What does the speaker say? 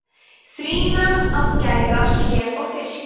frýna að gæða sér á fiski